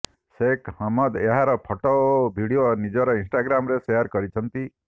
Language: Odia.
ଶେଖ ହମଦ୍ ଏହାର ଫଟୋ ଓ ଭିଡିଓ ନିଜ ଇନଷ୍ଟାଗାମରେ ସେୟାର କରିଛନ୍ତି